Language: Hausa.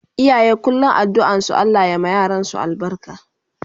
Iyaye kullum addu'an su Allah ya ma yaransu albarka